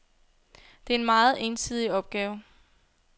Det er en meget ensidig opgave.